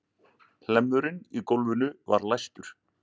Hlemmurinn í gólfinu var læstur.